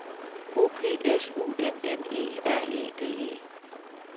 O P S U M M E R E D E